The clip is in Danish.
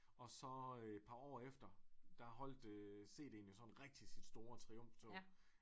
Og så et par år efter der holdt cd'en jo sådan rigtig sit store triumftog